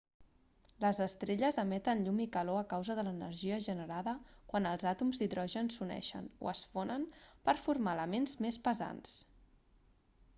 les estrelles emeten llum i calor a causa de l'energia generada quan els àtoms d'hidrogen s'uneixen o es fonen per formar elements més pesants